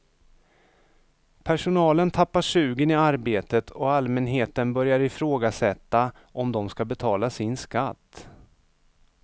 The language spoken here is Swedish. Personalen tappar sugen i arbetet och allmänheten börjar ifrågasätta om de ska betala sin skatt.